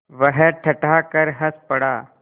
वह ठठाकर हँस पड़ा